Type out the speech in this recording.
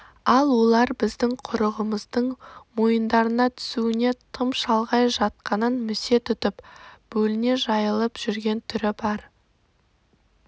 ал олар біздің құрығымыздың мойындарына түсуіне тым шалғай жатқанын місе тұтып бөліне жайылып жүрген түрі бар